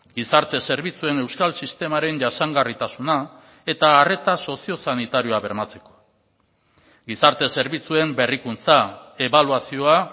gizarte zerbitzuen euskal sistemaren jasangarritasuna eta arreta soziosanitarioa bermatzeko gizarte zerbitzuen berrikuntza ebaluazioa